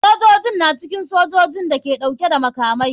Sojojin na cikin sojojin da ke dauke da makamai.